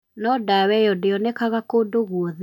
No ndawa ĩyo ndĩonekaga kũndũ guothe .